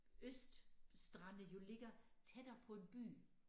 Øst strande jo ligger tættere på en by